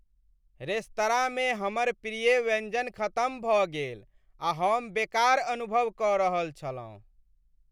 रेस्तराँमे हमर प्रिय व्यंजन खतम भऽ गेल आ हम बेकार अनुभव कऽ रहल छलहुँ ।